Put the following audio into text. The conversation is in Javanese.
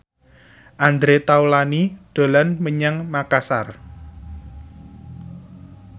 Andre Taulany dolan menyang Makasar